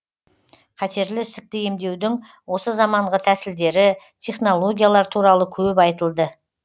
қатерлі ісікті емдеудің осы заманғы тәсілдері технологиялар туралы көп айтылды